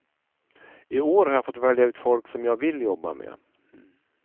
I år har jag fått välja ut folk som jag vill jobba med.